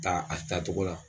Ta a ta togo la.